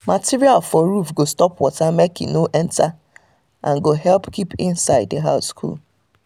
material for roof go stop water make e not enter and go help keep inside the house cool